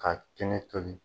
Ka kɛnɛ tobi.